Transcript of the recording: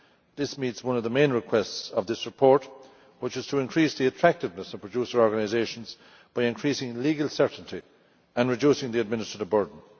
This meets one of the main requests of this report, which is to increase the attractiveness of producer organisations by increasing legal certainty and reducing the administrative burden.